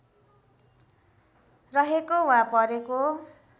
रहेको वा परेको